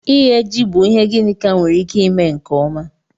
Ighe ji bụ ihe Ginika nwere ike ime nke ọma